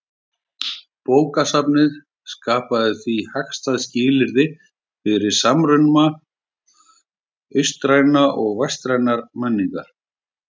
Bókasafnið skapaði því hagstæð skilyrði fyrir samruna austrænnar og vestrænnar menningar.